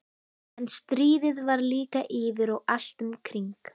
En stríðið var líka yfir og allt um kring.